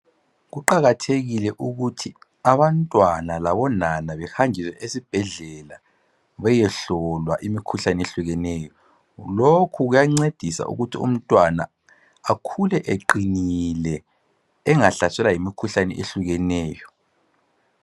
Kuqakathekile ukuthi abantwana labonana behanjiswe esibhedlela bayehlolwa imikhuhlane eyehlukeneyo lokhu kuyancedisa ukuthi umntwana akhule eqinile engahlaselwa yimikhuhlane eyehlukeneyo.